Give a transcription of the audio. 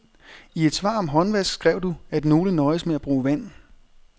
I et svar om håndvask skrev du, at nogle nøjes med at bruge vand.